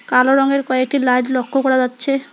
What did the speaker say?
কালো রঙের কয়েকটি লাইট লক্য করা যাচ্ছে।